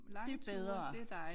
Det bedre